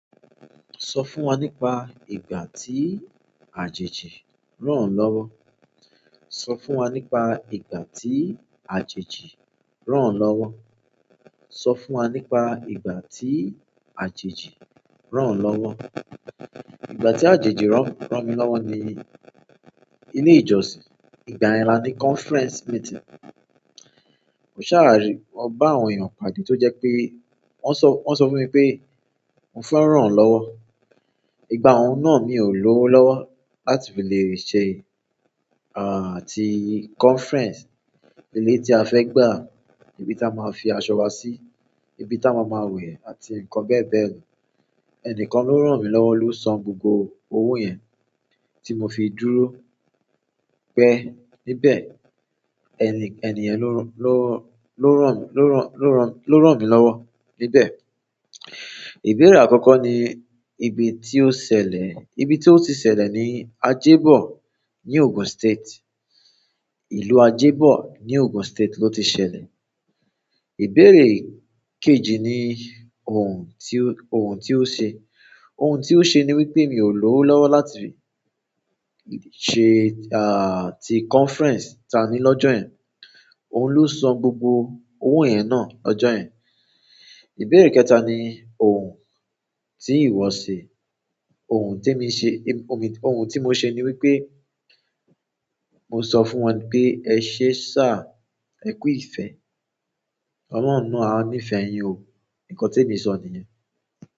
Sọ fún wa nípa ìgbà tí àjèjì ràn o lọ́wọ́. Sọ fún wa nípa ìgbà tí àjèjì ràn lọ́wọ́. Sọ fún wa nípa ìgbà tí àjèjì ràn lọ́wọ́. Ìgbà tí àjèjì rán, ràn mí lọ́wọ́ ni ilé ìjọsìn. Igbayen la ni conference meeting. Mo ṣàrà rí, mo bá àwọn èèyàn pàdé tó jẹ́ pé wọ́n sọ, wọ́n sọ fún mi pé n fẹ́ ràn o lọ́wọ́. Ìgbà hun náà mi ò ló lọ́wọ́ láti fi lè rí ṣe, ti conference. Ilé tí a fẹ́ gbà, ibi tí a máa fi aṣọ wa sí, ibi tí a máa máa wẹ̀ àti nǹkan bẹ́ẹ̀ bẹ́ẹ̀ lọ. Ẹnìkan ló ràn mí lọ́wọ́, ló san gbogbo owó yẹn tí mo fi dúró pẹ́ níbẹ̀. Eniyen lo ranmi lowo níbẹ̀. Ìbéèrè akọ́kọ́ ni ibi ti o ṣẹlẹ̀, ibi ti o ti ṣẹlẹ̀ ni Ajẹ́bọ̀ ní Ogun State. Ìlú Ajẹ́bọ̀ ní Ogun State ló ti ṣẹlẹ̀. Ìbéra kejì ni ohun ti o, ohun ti ó ṣe. Ohun ti ó ṣe ni wípé mi ò ló lọ́wọ́ láti ṣe, ti conference ta ni lọ́jọ́ yẹn. Òun ló san gbogbo owó yẹn náà lọ́jọ́ yẹn. Ìbéèrè kẹta ni ohun tí ìwọ ṣe. Ohun ti mi ṣe, ohun ti mo ṣe ni wípé mo sọ fún wọn pé ẹ ṣé sá, ẹ kú ìfẹ́. Oloun náà "a níí fẹ́ yín o". Nkàn temi sọ nìyẹn.